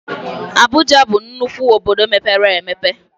Abụja bụ nnukwu obodo mepere emepe